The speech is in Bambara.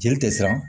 Jeli tɛ siran